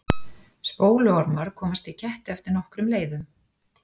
Spóluormar komast í ketti eftir nokkrum leiðum.